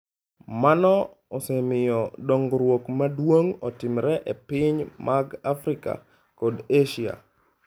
Mano osemiyo dongruok maduong ' otimore e pinje mag Afrika kod Asia.